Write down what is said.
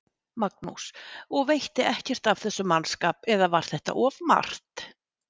Magnús: Og veitti ekkert af þessum mannskap eða var þetta of margt?